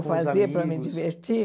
fazia para me divertir?